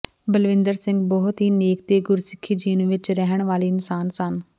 ਬਲਵਿੰਦਰ ਸਿੰਘ ਬਹੁਤ ਹੀ ਨੇਕ ਤੇ ਗੁਰਸਿਖੀ ਜੀਵਨ ਵਿਚ ਰਹਿਣ ਵਾਲੇ ਇਨਸਾਨ ਸਨ